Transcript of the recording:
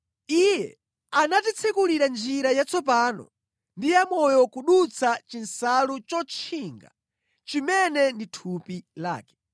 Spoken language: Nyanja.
Iye anatitsekulira njira yatsopano ndi yamoyo kudutsa chinsalu chotchinga, chimene ndi thupi lake.